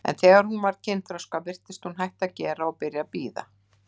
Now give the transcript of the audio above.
En þegar hún varð kynþroska virtist hún hætta að gera og byrja að bíða.